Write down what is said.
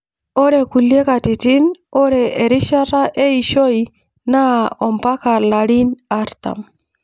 Ore nkulie katitin ,ore erishata eishoi naa ompaka larin artam.